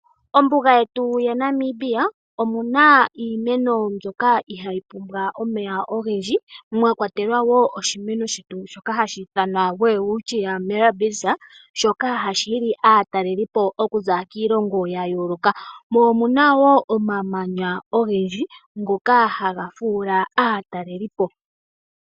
Ombuga yetu ya Namibia omuna iimeno mbyoka ihaayi pumbwa omeya ogendji mwa kwatelwa wo oshimeno shetu shoka hashi ithanwa Welwitchia mirabis shoka hashi hili aatalelipo okuza kiilongo ya yooloka. Mo omuna woo omamanya ogendji ngoka haga fuula aatalelipo.